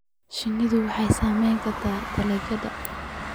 Shinnidu waxay saameyn kartaa tayada dalagyada.